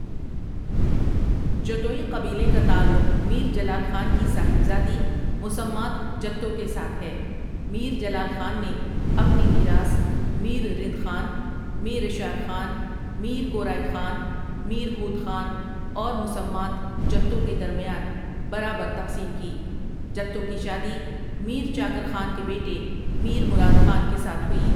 جتوئی قبیلے کا تعلق میر جلال خان کی صاحبزادی مسمات جتو کے ساتھ ہے میر جلال خان نے اپنی میراث میررند خان، میراشار خان، میر کورائی خان، میر ہوت خان اور مسمات جتو کے درمیان برابر تقسیم کی جتو کی شادی میرچاکر خان کے بیٹے میر مراد خان کے ساتھ ہوئی ۔